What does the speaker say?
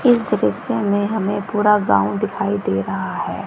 इस दृश्य में हमें पूरा गांव दिखाई दे रहा है।